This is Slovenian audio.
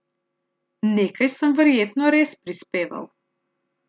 Nekaj sem verjetno res prispeval.